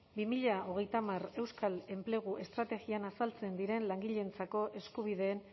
bi mila hogeita hamar euskal enplegu estrategia azaltzen den langileentzako eskubideen